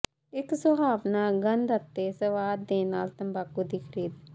ਇੱਕ ਸੁਹਾਵਣਾ ਗੰਧ ਅਤੇ ਸਵਾਦ ਦੇ ਨਾਲ ਤੰਬਾਕੂ ਦੀ ਖਰੀਦ